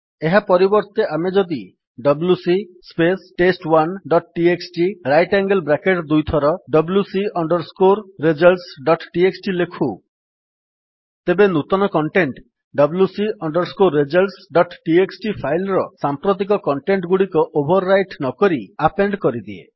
ଏହା ପରିବର୍ତ୍ତେ ଆମେ ଯଦି WC space test one dot TXT right angle bracket ଦୁଇଥର WC under score results dot TXT ଲେଖୁ ତେବେ ନୂତନ content WC under score results dot TXT file ର ସାମ୍ପ୍ରତିକ କଣ୍ଟେଣ୍ଟ୍ ଗୁଡିକ ଓଭର୍ ରାଇଟ୍ ନକରି ଆପେଣ୍ଡ୍ କରିଦିଏ